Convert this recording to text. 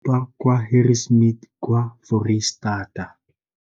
70 kwa Harri smith kwa Foreisetata.